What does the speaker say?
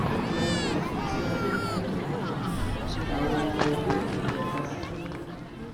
nídìí aṣọ òfì tí adébáyò ń hun làwọn ọmọ ẹgbẹ òkùnkùn pa á sí ńìlọrin